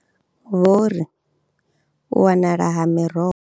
Vho ri, U wanala ha miroho.